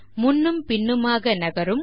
முன்னும் பின்னுமாக நகரும்